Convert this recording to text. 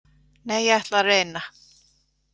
Nei, ég ætla að reyna.